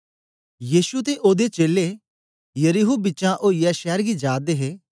यीशु ते ओदे चेलें यरीहो बिचें ओईयै शैर गी जा दे हे